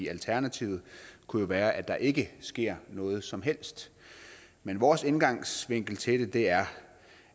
alternativet kunne jo være at der ikke sker noget som helst men vores indgangsvinkel til det er